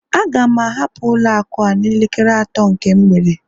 Aga m ahapụ ụlọ akụ a n'elekere atọ nke mgbede